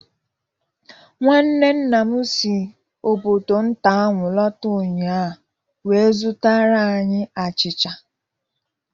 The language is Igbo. Nwanne nna m si obodo nta ahụ lọta ụnyahụ wee zụtara anyị achịcha.